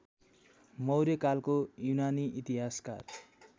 मौर्यकालको युनानी इतिहासकार